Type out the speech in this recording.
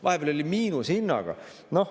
Vahepeal oli miinushinnaga.